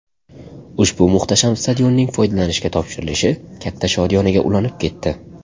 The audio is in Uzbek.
Ushbu muhtasham stadionning foydalanishga topshirilishi katta shodiyonaga ulanib ketdi.